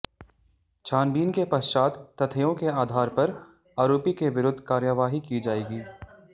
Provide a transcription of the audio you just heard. छानबीन के पश्चात तथ्यों के आधार पर आरोपी के विरुद्ध कार्यवाही की जाएगी